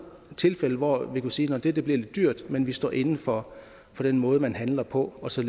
tilfælde hvor vi kunne sige det bliver lidt dyrt men vi står inde for den måde man handler på og så